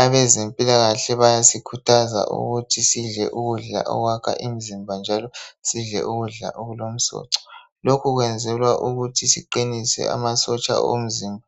Abezempilakahle bayasikhuthaza ukuthi sidle ukudla okwakha imizimba njalo sidle ukudla okulomsoco. Lokhu kwenzelwa ukuthi siqinise amasotsha omzimba